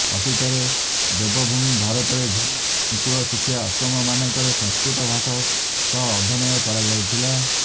ଅତୀତରେ ଦେବଭୂମି ଭାରତରେ ଗୁରୁକୂଳ ଶିକ୍ଷା ଆଶ୍ରମମାନଙ୍କରେ ସଂସ୍କୃତ ଭାଷା ସହ ଅଧ୍ୟୟନ କରାଯାଉଥିଲା